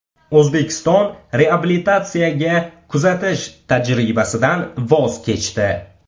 O‘zbekiston reabilitatsiyaga kuzatish tajribasidan voz kechdi .